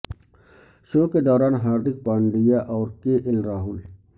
شو کے دوران ہاردک پانڈیا اور کے ایل راہل